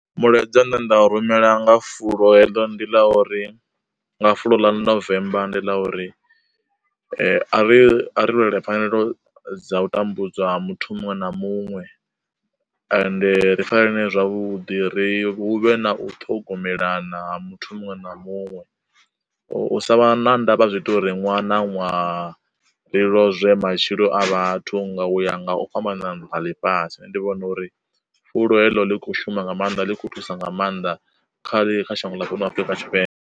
Mulaedza nṋe nda rumela nga fulo heḽo ndi ḽa uri, nga fulo ḽa November ndi ḽa uri, ri a ri lwele pfanelo dza u tambudzwa ha muthu muṅwe na muṅwe, ende ri farane zwavhuḓi ri hu vhe na u ṱhogomelana ha muthu muṅwe na muṅwe. U sa vha na ndavha zwi ita uri ṅwaha na ṅwaha ri lozwe matshilo a vhathu nga u ya nga u fhambana nnḓa ḽifhasi, nṋe ndi vhona uri fulo heḽo ḽi kho u shuma nga maanḓa ḽi kho thusa nga maanḓa kha ḽe kha shango ḽa fhano Afurika Tshipembe.